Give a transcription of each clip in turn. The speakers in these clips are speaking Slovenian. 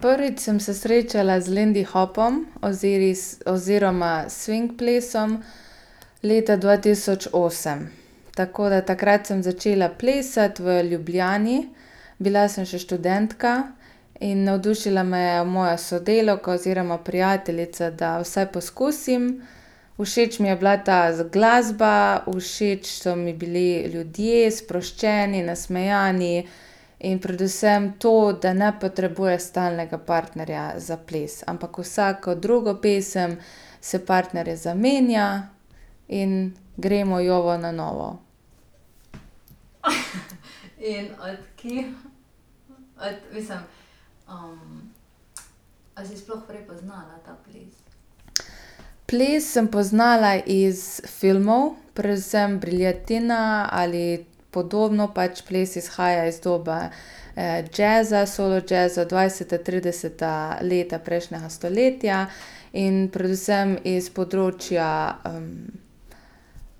Prvič sem se srečala z lindy hopom oziroma swing plesom leta dva tisoč osem. Tako da takrat sem začela plesati v Ljubljani, bila sem še študentka in navdušila me je moja sodelavka oziroma prijateljica, da vsaj poskusim. Všeč mi je bila ta glasba, všeč so mi bili ljudje, sproščeni, nasmejani in predvsem to, da ne potrebuješ stalnega partnerja za ples, ampak vsako drugo pesem se partnerje zamenja in gremo jovo na novo. Ples sem poznala iz filmov, predvsem Briljatina ali podobno pač ples izhaja iz dobe, jazza, solo jazza, dvajseta, trideseta leta prejšnjega stoletja in predvsem iz področja,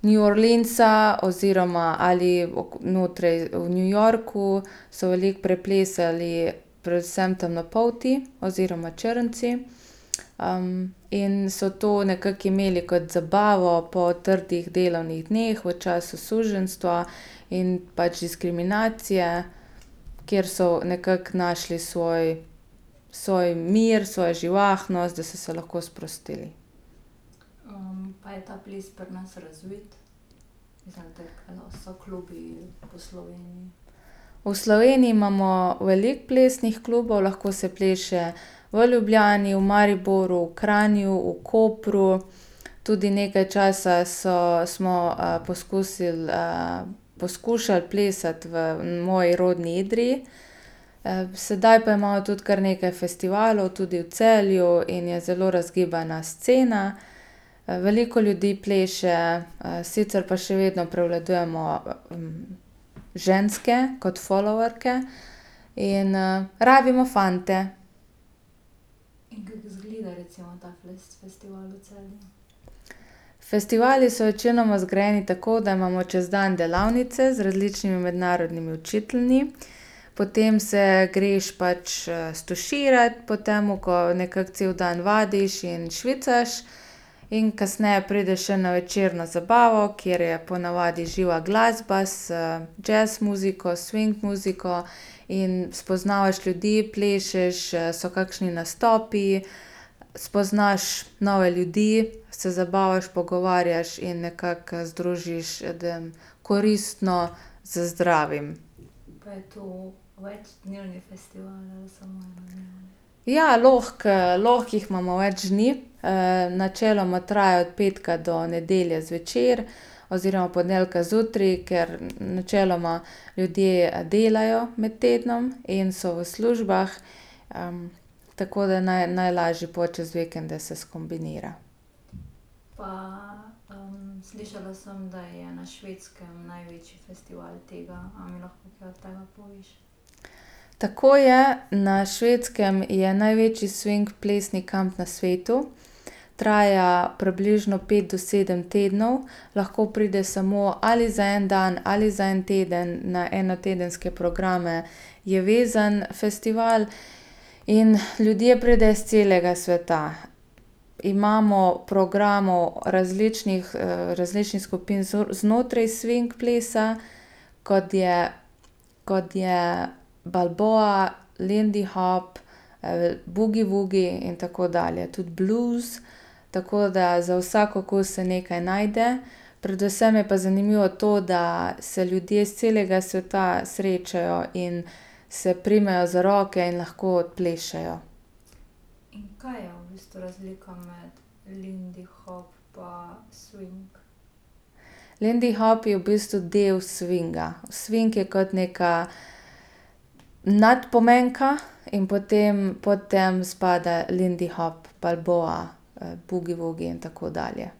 New Orleansa oziroma ali v New Yorku so veliko preplesali, predvsem temnopolti oziroma črnci. in so to nekako imeli kot zabavo po trdih delovnih dneh v času suženjstva in pač diskriminacije, kjer so nekako našli svoj, svoj mir, svojo živahnost, da so se lahko sprostili. V Sloveniji imamo veliko plesnih klubov, lahko se pleše v Ljubljani, v Mariboru, v Kranju, v Kopru tudi nekaj časa so, smo, poskusili, poskušali plesati v moji rodni Idriji. sedaj pa imamo tudi kar nekaj festivalov, tudi v Celju in je zelo razgibana scena. veliko ljudi pleše, sicer pa še vedno prevladujemo ženske kot followerke In, rabimo fante. Festivali so večinoma zgrajeni tako, da imamo čez dan delavnice z različnimi mednarodnimi učitelji. Potem se greš pač, stuširat potem, ko nekako cel dan vadiš in švicaš. In kasneje prideš še na večerno zabavo, kjer je po navadi živa glasba z jazz muziko, swing muziko in spoznavaš ljudi, plešeš, so kakšni nastopi, spoznaš nove ljudi, se zabavaš, pogovarjaš in nekako, združiš koristno z zdravim. Ja, lahko, lahko jih imamo več dni, načeloma traja od petka do nedelje zvečer. Oziroma zjutraj, ker načeloma ljudje delajo med tednom in so v službah. tako da naj, najlažje pol čez vikende se skombinira. Tako je, na Švedskem je največji swing plesni kamp pa svetu. Traja približno pet do sedem tednov, lahko prideš samo ali za en dan ali za en teden na enotedenske programe, je vezan festival in ljudje pridejo s celega sveta. Imamo programov, različnih, različnih skupin znotraj swing plesa, kot je, kot je balboa, lindy hop, boogie-woogie in tako dalje, tudi blues, tako da za vsak okus se nekaj najde. Predvsem je pa zanimivo to, da se ljudje s celega sveta srečajo in se primejo za roke in lahko odplešejo. Lindy hop je v bistvu del swinga. Swing je kot neka nadpomenka in potem pod tem spada lindy hop, balboa, boogie-woogie in tako dalje.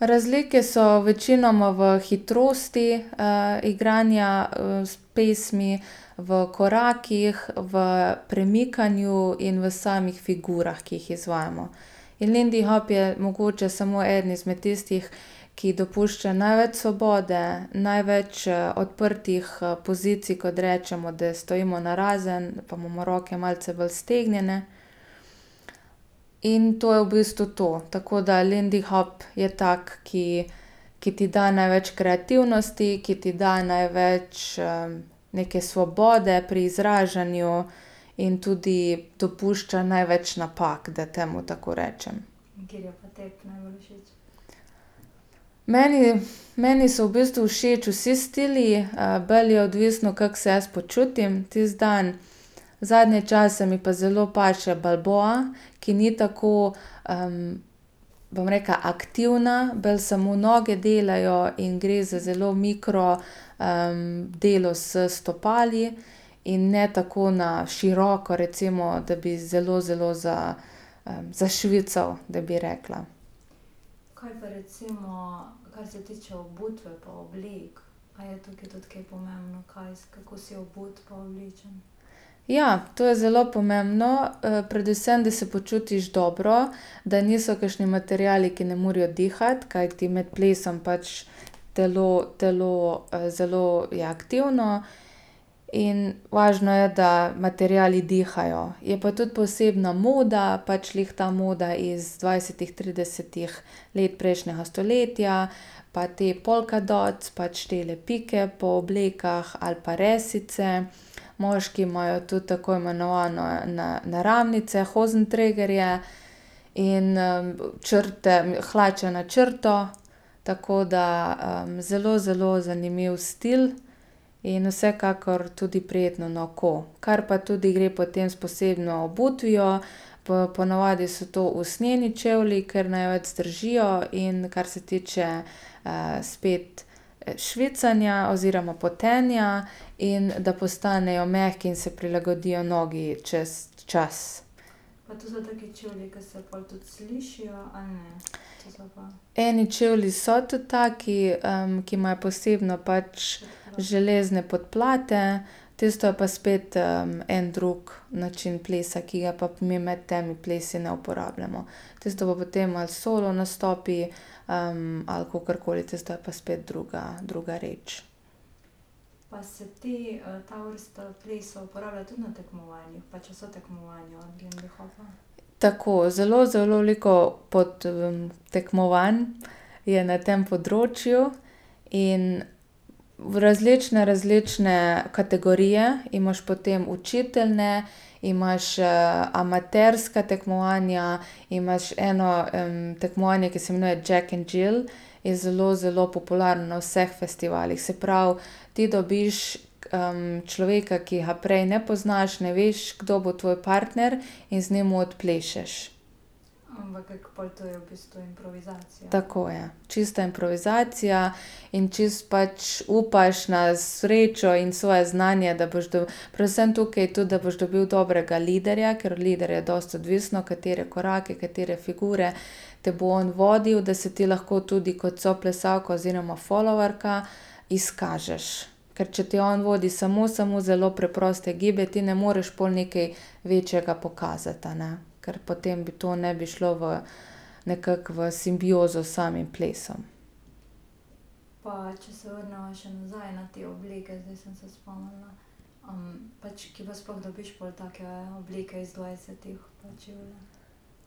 Razlike so večinoma v hitrosti, igranja, s pesmi, v korakih, v premikanju in v samih figurah, ki jih izvajamo. In lindy hop je mogoče samo eden izmed tistih, ki dopušča največ svobode, največ, odprtih pozicij, kot rečemo, da stojimo narazen pa imamo roke malce bolj stegnjene. In to je v bistvu to, tako da lindy hop je tako, ki, ki ti da največ kreativnosti, ki ti da največ, neke svobode pri izražanju in tudi dopušča največ napak, da temu tako rečem. Meni , meni so v bistvu všeč vsi stili, bolj je odvisno, kako se jaz počutim tisti dan. Zadnje čase mi pa zelo paše balboa, ki ni tako, bom rekla, aktivna, bolj samo noge delajo in gre za zelo mikro, delo s stopali in ne tako na široko recimo, da bi zelo, zelo za, zašvical, da bi rekla. Ja to je zelo pomembno, predvsem, da se počutiš dobro, da niso kakšni materiali, ki ne morejo dihati, kajti med plesom pač telo, telo, zelo je aktivno in važno je, da materiali dihajo. Je pa tudi posebna moda, pač glih ta moda iz dvajsetih, tridesetih let prejšnjega stoletja, pa te polkadot pač tele pike po oblekah ali pa resice. Moški imajo tudi tako imenovano naramnice, hozentregarje. In, črte, hlače na črto, tako da, zelo, zelo zanimiv stil in vsekakor tudi prijetno na oko. Kar pa tudi gre potem s posebno obutvijo po, po navadi so to usnjeni čevlji, ker največ zdržijo, in kar se tiče, spet, švicanja oziroma potenja in da postanejo mehki in se prilagodijo nogi čez čas. Eni čevlji so tudi taki, ki imajo posebno pač železne podplate, tisto je pa spet, en drug način plesa, ki ga pa mi med temi plesi ne uporabljamo. Tisto pa potem ali solo nastopi, ali kakorkoli tisto je pa spet druga, druga reč. Tako zelo, zelo veliko pod, tekmovanj je na tem področju in v različne, različne kategorije, imaš potem učitelje, imaš, amaterska tekmovanja, imaš eno, tekmovanje, ki se imenuje Džek and Jill, je zelo, zelo popularno na vseh festivalih, se pravi, ti dobiš, človeka, ki ga prej ne poznaš, ne veš, kdo bo tvoj partner in z njim odplešeš. Tako, ja, čista improvizacija in čisto pač upaš na srečo in svoje znanje, da boš do predvsem tukaj je to, da boš dobil dobrega liderja, ker od liderja je dosti odvisno, katere korake, katere figure te bo on vodil, da se ti lahko tudi kot soplesalka oziroma followerka izkažeš. Ker če te on vodi, samo, samo zelo preproste gibe, ti ne moreš pol nekaj večjega pokazati, a ne, ker potem bi to ne bi šlo v nekako v simbiozo s samim plesom.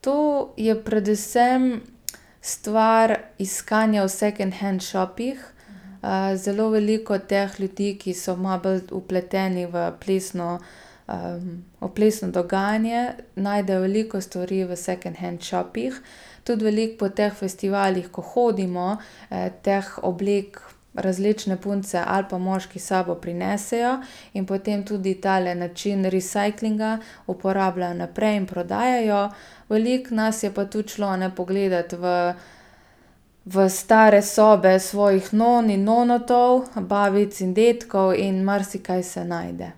To je predvsem stvar iskanja v second hand shopih. zelo veliko teh ljudi, ki so malo bolj vpleteni v plesno, o plesno dogajanje, najdejo veliko stvari v second hand shopih. Tudi veliko po teh festivalih, ko hodimo, teh oblek, različne punce ali pa moški s sabo prinesejo in potem tudi tale način recyclinga uporabljajo naprej in prodajajo. Veliko nas je pa tudi šlo, a ne, pogledati v, v stare sobe svojih non in nonotov, babic in dedkov in marsikaj se najde.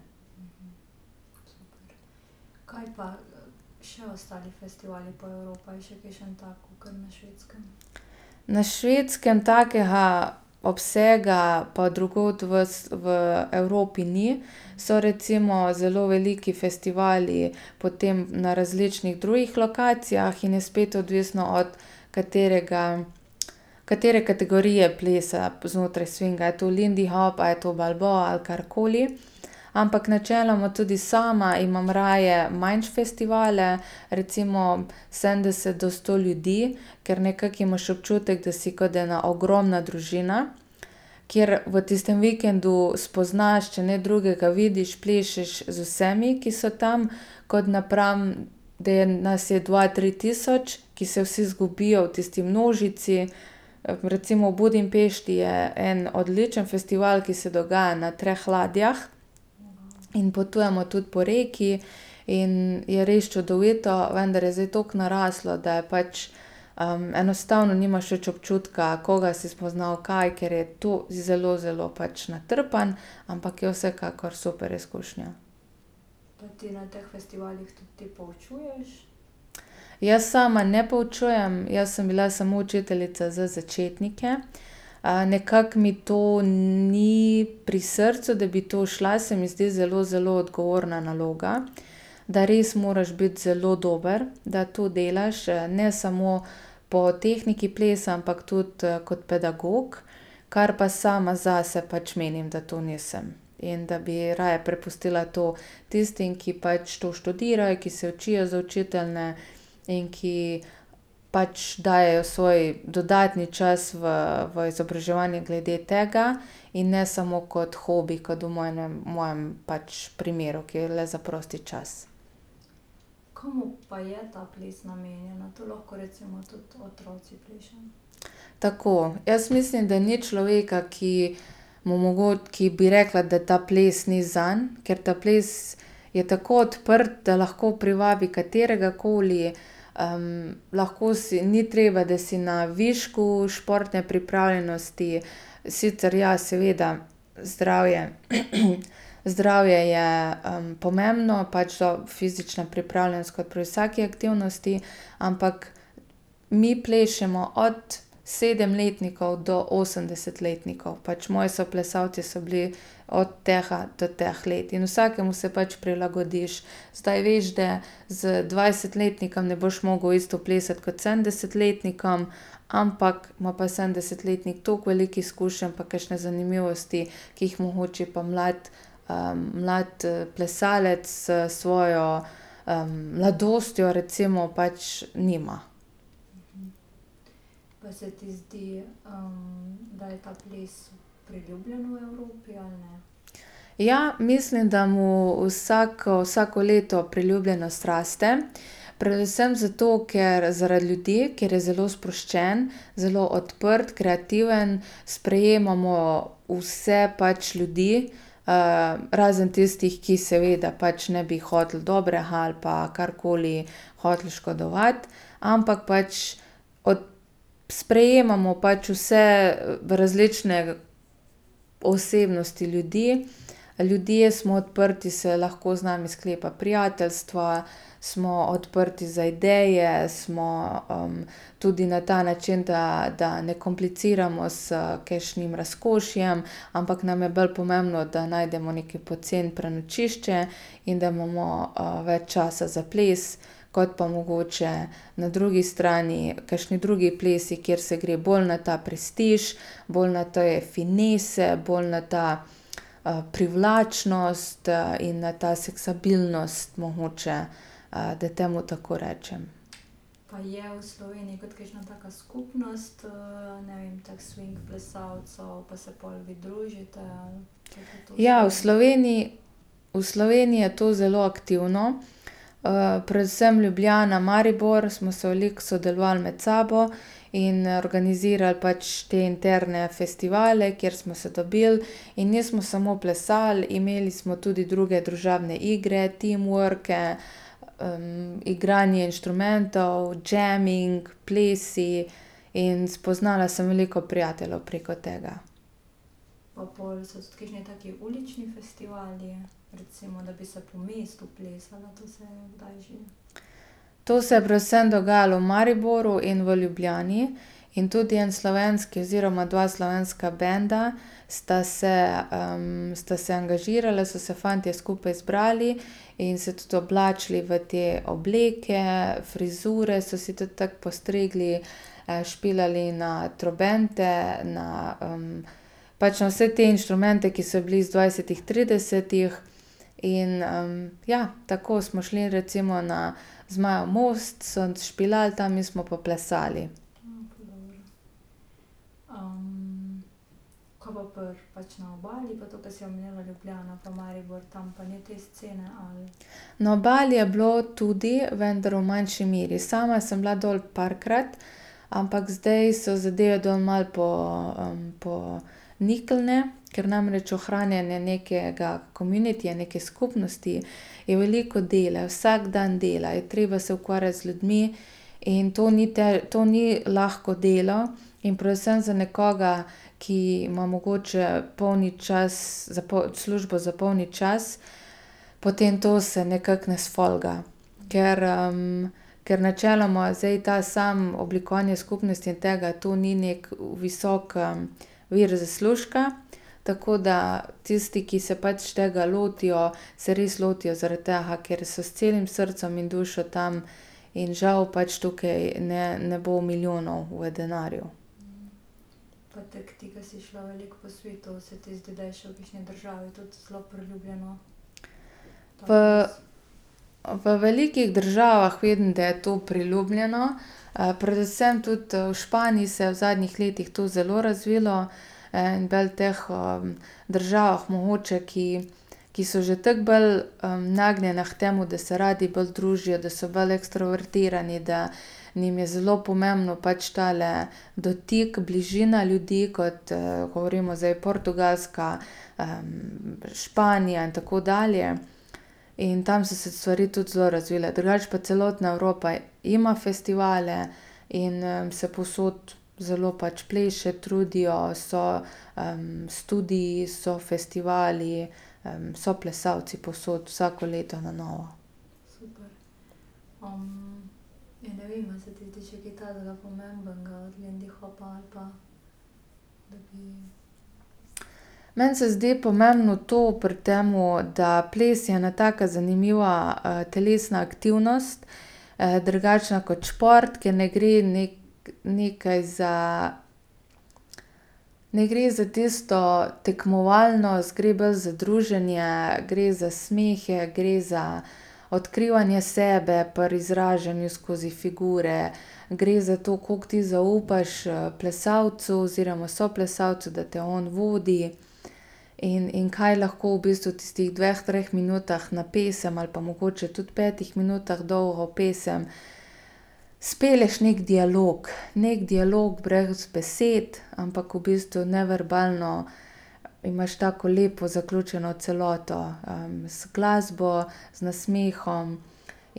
Na Švedskem takega obsega pa drugod v s, v Evropi ni. So recimo zelo veliki festivali potem na različnih drugih lokacijah in je spet odvisno, od katerega, katere kategorije plesa znotraj swinga, a je to lindy hop ali je to balboa ali karkoli. Ampak načeloma tudi sama imam raje manjše festivale, recimo sedemdeset do sto ljudi, ker nekako imaš občutek, da si kot ena ogromna družina, kjer v tistem vikendu spoznaš, če ne drugega vidiš, plešeš z vsemi, ki so tam. Kot napram, da je nas je dva, tri tisoč, ki se vsi zgubijo v tisti množici. recimo v Budimpešti je en odličen festival, ki se dogaja na treh ladjah. In potujemo tudi po reki in je res čudovito, vendar je zdaj toliko naraslo, da pač, enostavno nimaš več občutka, koga si spoznal, kaj, ker je to zelo, zelo pač natrpano. Ampak je vsekakor super izkušnja. Jaz sama ne poučujem, jaz sem bila samo učiteljica za začetnike. nekako mi to ni pri srcu, da bi to šla, se mi zdi zelo, zelo odgovorna naloga. Da res moraš biti zelo dober, da to delaš, ne samo po tehniki plesa, ampak tu kot pedagog, kar pa sama zase pač menim, da to nisem. In da bi raje prepustila to tistim, ki pač to študirajo, ki se učijo za učitelje in ki pač dajejo svoj dodatni čas v, v izobraževanje glede tega. In ne samo kot hobi, kot v v mojem pač primeru, ki je le za prosti čas. Tako, jaz mislim, da ni človeka, ki mu ki bi rekla, da ta ples ni zanj, ker ta ples je tako odprt, da lahko privabi katerega koli, lahko si, ni treba, da si na višku športne pripravljenosti sicer ja, seveda, zdravje, zdravje je, pomembno, pač ta fizična pripravljenost, kot pri vsaki fizični aktivnosti, ampak mi plešemo od sedemletnikov do osemdesetletnikov. Pač moji soplesalci so bili od tega to teh let in vsakemu se pač prilagodiš. Zdaj veš da z dvajsetletnikom ne boš mogel isto plesati kot s sedemdesetletnikom, ampak ima pa sedemdesetletnik tako veliko izkušenj, pa kakšne zanimivosti, ki jih mogoče pa mlad, mlad plesalec, s svojo, mladostjo recimo pač nima. Ja, mislim, da mu vsak, vsako leto priljubljenost raste. Predvsem zato, ker, zaradi ljudi, ker je zelo sproščen, zelo odprt, kreativen, sprejemamo vse pač ljudi. razen tistih, ki seveda pač ne bi hoteli dobrega ali pa karkoli hoteli škodovati. Ampak pač od sprejemamo pač vse, različne osebnosti ljudi. Ljudje smo odprti, se lahko z nami sklepa prijateljstva, smo odprti za ideje, smo, tudi na ta način, da, da ne kompliciramo s kakšnim razkošjem, ampak nam je bolj pomembno, da najdemo neko poceni prenočišče in da imamo, več časa za ples kot pa mogoče na drugi strani kakšni drugi plesi, kjer se gre bolj na ta prestiž, bolj na te finese, bolj na to, privlačnost, in na ta seksapilnost mogoče. da temu tako rečem. Ja v Sloveniji, v Sloveniji je to zelo aktivno, predvsem Ljubljana, Maribor smo se veliko sodelovali med sabo. In, organizirali pač te interne festivale, kjer smo se dobili in nismo samo plesali, imeli smo tudi druge družabne igre, teamworke, igranje inštrumentov, jamming, plesi in spoznala sem veliko prijateljev preko tega. To se je predvsem dogajalo v Mariboru in v Ljubljani. In tudi en slovenski oziroma dva slovenska banda sta se, sta se angažirala, so se fantje skupaj zbrali in se tudi oblačili v te obleke, frizure so si tudi tako postrigli. špilali na trobente, na, pač na vse te inštrumente, ki so bili iz dvajsetih, tridesetih, in, ja, tako smo šli recimo na Zmajev most, so špilali tam, mi smo pa plesali. Na Obali je bilo tudi, vndar v manjši meri. Sama sem bila dol parkrat, ampak zdaj so zadeve dol malo niknile, ker namreč ohranjanje nekega communityja, neke skupnosti, je veliko dela, vsak dan dela, je treba se ukvarjati z ljudmi in to ni to ni lahko delo in predvsem za nekoga, ki ima mogoče polni čas, službo za polni čas, potem to se nekako ne sfolga, ker, ker načeloma zdaj to samo oblikovanje skupnosti in tega, to ni neki visok, vir zaslužka, tako da tisti, ki se pač tega lotijo, se res lotijo zaradi tega, ker so res s celim srcem in dušo tam, in žal pač tukaj ne, ne bo milijonov v denarju. po velikih državah vidim, da je to priljubljeno. predvsem tudi, v Španiji se je v zadnjih letih to zelo razvilo, in bolj teh, državah mogoče$, ki, ki so že tako bolj, nagnjene k temu, da se radi bolj družijo, da so bolj ekstrovertirani, da njim je zelo pomemben pač tale dotik, bližina ljudi, kot, govorimo zdaj Portugalska, Španija in tako dalje. In tam so se stvari tudi zelo razvile. Drugače pa celotna Evropa ima festivale in, se povsod zelo pač pleše, trudijo, so, studii, so festivali, so plesalci povsod, vsako leto na novo. Meni se zdi pomembno to pri tem, da ples je ena taka zanimiva telesna aktivnost. drugačna kot šport, ker ne gre nekaj za ne gre za tisto tekmovalnost, gre bolj za druženje, gre za smehe, gre za odkrivanje sebe, pri izražanju skozi figure. Gre za to, koliko ti zaupaš, plesalcu, oziroma soplesalcu, da te on vodi. In, in kaj lahko v bistvu v tistih dveh, treh minutah na pesem ali pa mogoče tudi petih minutah dolgo pesem spelješ neki dialog, neki dialog brez besed, ampak v bistvu neverbalno imaš tako lepo zaključeno celoto, z glasbo, z nasmehom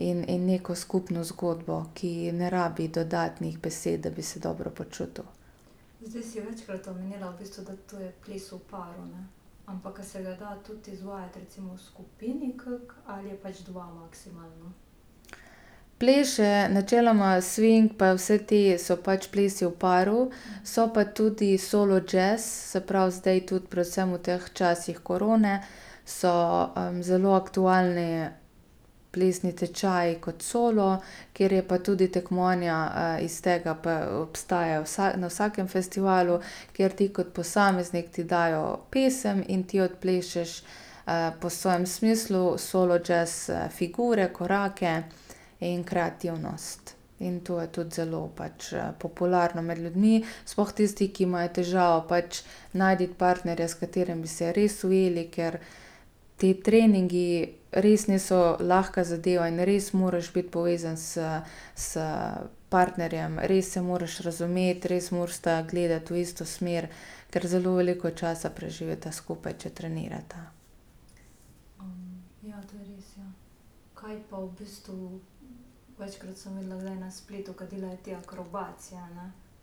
in, in neko skupno zgodbo, ki ne rabi dodatnih besed, da bi se dobro počutil. Pleše načeloma swing pa vsi ti so pač plesi v paru. So pa tudi solo jazz, se pravi zdaj tudi predvsem v tem času korone so, zelo aktualni plesni tečaji kot solo, kjer je pa tudi tekmovanja, iz tega pa obstaja na vsakem festivalu, kjer ti kot posameznik ti dajo pesem in ti odplešeš, po svojem smislu solo jazz, figure, korake in kreativnost in to je tudi zelo pač, popularno med ljudmi, sploh tisti, ki imajo težavo pač najti partnerja, s katerim bi se res ujeli, ker ti treningi res niso lahko zadeva in res moraš biti povezan s, s partnerjem, res se moraš razumeti, res morata gledati v isto smer, ker zelo veliko časa preživita skupaj, če trenirata. Ja,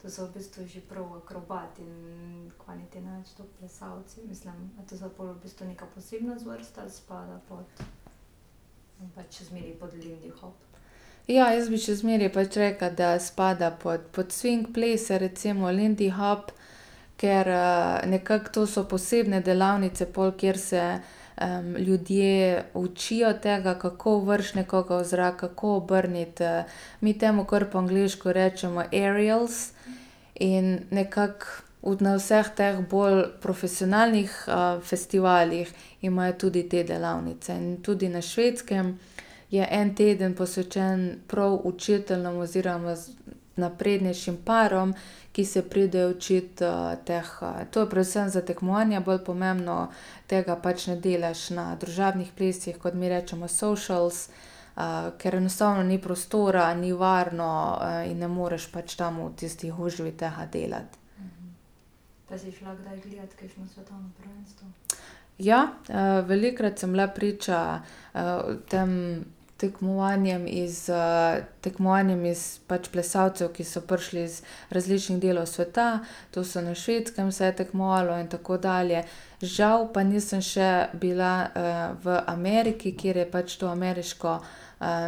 jaz bi še zmeraj pač rekla, da spada pod, pod swing plese recimo lindy hop, ker, nekako to so posebne delavnice pol, kjer se, ljudje učijo tega, kako vreči nekoga v zrak, kako obrniti, mi temu kar po angleško rečemo aerials, in nekako v, na vseh teh bolj profesionalnih, festivalih imajo tudi te delavnice in tudi na Švedskem je en teden posvečen prav učiteljem oziroma naprednejšim parom, ki se pridejo učit, teh, to je predvsem za tekmovanja bolj pomembno, tega pač ne delaš na družabnih plesih, kot mi rečemo socials, ker enostavno ni prostora, ni varno, in ne moreš pač tam v tisti gužvi tega delati. Ja, velikokrat sem bila priča, tem tekmovanjem iz, tekmovanjem iz, pač plesalcev, ki so prišli iz različnih delov sveta. To so na Švedskem se je tekmovalo in tako dalje, žal pa nisem še bila, v Ameriki, kjer je pač to ameriško,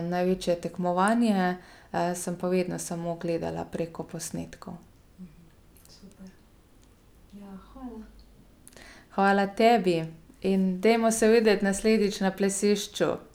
največje tekmovanje, sem pa vedno samo gledala preko posnetkov. Hvala tebi. In dajmo se videti naslednjič na plesišču.